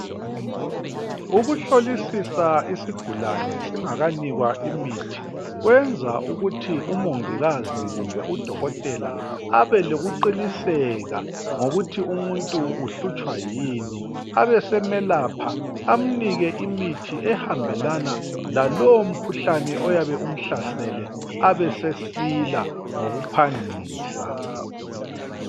Ukuhlolisisa isigulane singakanikwa imithi kwenza ukuthi umongikazi kumbe udokotela abelokuqiniseka ngokuthi umuntu uhlutshwa yini abesemelapha amnike imithi ehambelana lalowo mkhuhlane oyabe umhlasele abesesila ngokuphangisa.